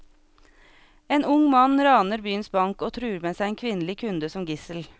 En ung mann raner byens bank og truer med seg en kvinnelig kunde som gissel.